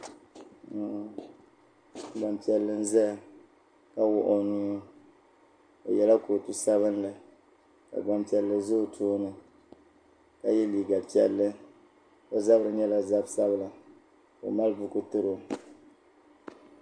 gbaŋ' piɛlli n-zaya ka wuɣi o nuu o yela kootu sabinli ka gbaŋ' piɛlli za o tooni ka ye liiga piɛlli o zabiri nyɛla zab' sabila ka o mali buku tiri o.